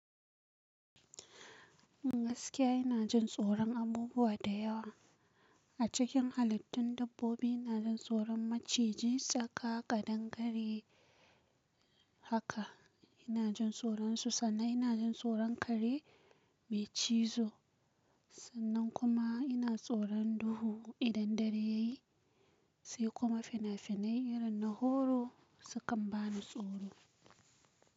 Gaskiya ina jin tsoron abubuwa da yawa. A cikin halittun dabbobi ina jin tsoron maciji tsaka kaɗangare haka ina jin tsoron su. Sannan ina jin tsoron kare mai cizo. Sannan kuma ina tsoron duhu idan dare ya yi, sai kuma fina-finai irin na horror su kan bani tsoro.